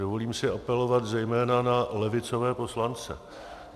Dovolím si apelovat zejména na levicové poslance.